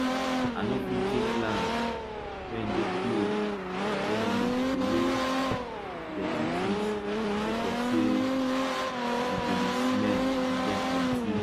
i nor fit take land wey dey close where dem dey throw away dirty things sake of say e go dey smell and get plenty